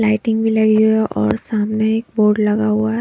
Lighting भी लगी हुई है और सामने एक बोर्ड लगा हुआ है।